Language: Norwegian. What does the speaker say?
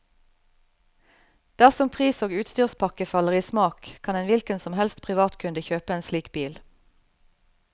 Dersom pris og utstyrspakke faller i smak, kan en hvilken som helst privatkunde kjøpe en slik bil.